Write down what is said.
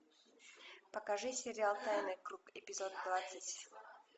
покажи сериал тайный круг эпизод двадцать